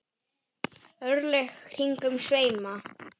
örlög kringum sveima